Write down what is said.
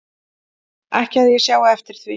Ekki að ég sjái eftir því